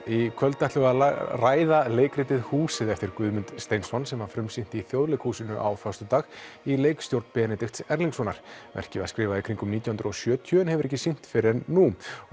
í kvöld ætlum við að ræða leikritið húsið eftir Guðmund Steinsson sem var frumsýnt í Þjóðleikhúsinu á föstudag í leikstjórn Benedikts Erlingssonar verkið var skrifað í kringum nítján hundruð og sjötíu en hefur ekki verið sýnt fyrr en nú